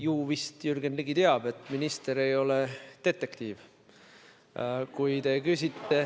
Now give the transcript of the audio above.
Ju vist Jürgen Ligi teab, et minister ei ole detektiiv.